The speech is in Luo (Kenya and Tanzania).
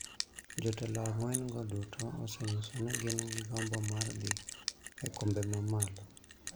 Jotelo ang�wen go duto osenyiso ni gin gi gombo mar dhi e kombe ma malo,